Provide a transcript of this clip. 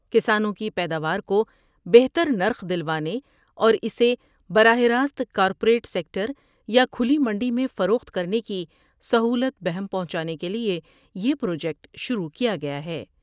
کسانوں کی پیداوارکو بہتر نرخ دلوانے اور اسے براہ راست کارپوریٹ سیکٹر یاکھلی منڈی میں فروخت کرنے کی سہولت بہم پہنچانے کیلئے یہ پروجیکٹ شروع کیا گیا ہے ۔